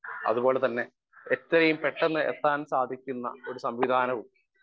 speaker 1 അതുപോലെതന്നെ എത്രയും പെട്ടെന്ന് എത്താൻ സാധിക്കുന്ന ഒരു സംവിധാനവും